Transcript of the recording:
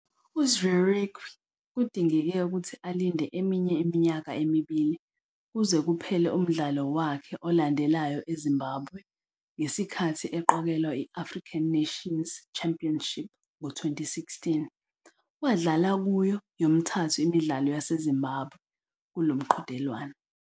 UZvirekwi kudingeke ukuthi alinde eminye iminyaka emibili kuze kuphele umdlalo wakhe olandelayo eZimbabwe ngesikhathi eqokelwa i- African Nations Championship ngo-2016, wadlala kuyo yomithathu imidlalo yaseZimbabwe kulo mqhudelwano.